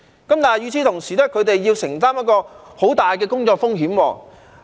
但是，與此同時，他們要承擔很大的工作風險。